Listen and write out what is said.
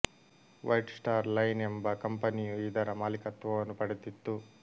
white Star Line ಎಂಬ ಕಂಪನಿಯೂ ಇದರ ಮಾಲಿಕತ್ವವನ್ನು ಪಡೆದಿತ್ತು